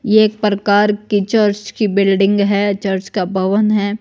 ये एक प्रकार की चर्च की बिल्डिंग है चर्च का भवन हैं।